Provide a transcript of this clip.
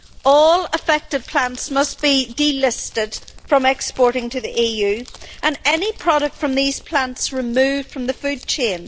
All affected plants must be delisted from exporting to the EU and any product from these plants removed from the food chain.